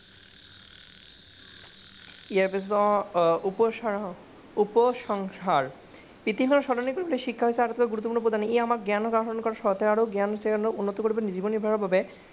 ইয়াৰ পিছত উপসংসদ, বৃটিছ সলনি কৰিবলৈ শিক্ষাই গুৰুত্বপূৰ্ণ ভূমিকা প্ৰদান কৰিছে। ই আমাক জ্ঞান আহৰণ আৰু জ্ঞান উন্নত কৰি জীৱন নিৰ্বাহৰ বাবে